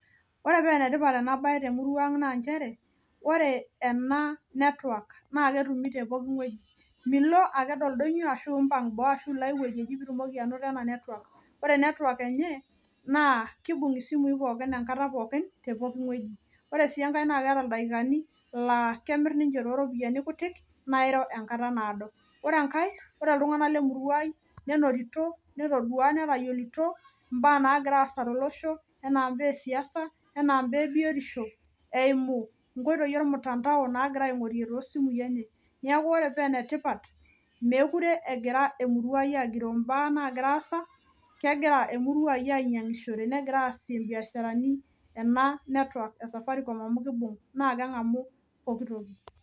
Ore penetipat ena baye temurua ang naa nchere ore ena network naa ketumi te poki ng'ueji milo aked oldonyio ashu impang boo ashu ilo ae wueji eji pitumoki anoto ena network ore network enye naa kibung isimui pookin enkata pookin te poki ng'ueji ore sii enkae naa keeta ildaikani laa kemirr ninche toropiani kutik nairo enkata naado ore enkae ore iltung'anak lemurua ai nenotito netodua netayiolito imbaa naagira aasa tolosho enaa imbaa esiasa enaa imbaa ebiotisho eimu inkoitoi ormtandao nagira aing'orie tosimui enye niaku ore penetipat mekure egira emurua agiroo imbaa nagira aasa kegira emurua ai ainyiang'ishore negira aasie imbiasharani ena network e safaricom amu kibung naa keng'amu pokitoki.